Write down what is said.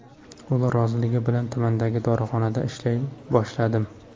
Ular roziligi bilan tumandagi dorixonada ishlay boshladim.